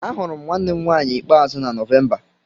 Ahụrụ m nwanne m nwanyị ikpeazụ na Nọvemba.